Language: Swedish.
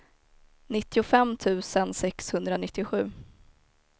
nittiofem tusen sexhundranittiosju